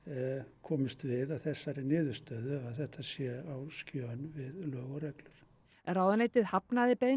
komumst við að þessari niðurstöðu að þetta sé á skjön við lög og reglur ráðuneytið hafnaði beiðni